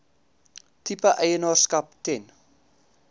tipe eienaarskap ten